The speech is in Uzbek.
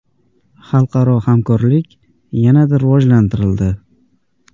Xalqaro hamkorlik yanada rivojlantirildi.